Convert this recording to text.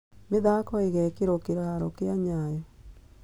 Mĩthaako ĩgekĩrwo kĩhaaro kĩa Nyayo